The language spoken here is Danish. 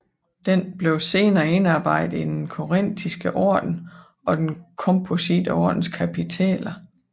Den blev senere indarbejdet i den korintiske orden og den komposite ordens kapitæler